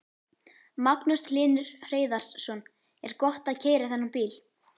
Magnús Hlynur Hreiðarsson: Er gott að keyra þennan bíl?